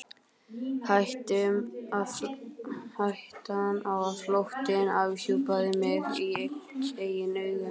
Hættan á að flóttinn afhjúpaði mig í eigin augum.